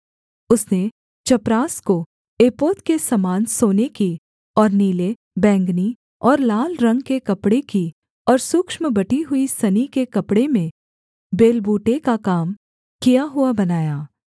उसने चपरास को एपोद के समान सोने की और नीले बैंगनी और लाल रंग के कपड़े की और सूक्ष्म बटी हुई सनी के कपड़े में बेलबूटे का काम किया हुआ बनाया